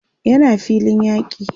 yana filin yaki